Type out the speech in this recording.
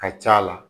Ka c'a la